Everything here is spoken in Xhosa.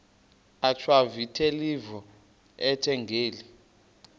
achwavitilevo ethetha ngeli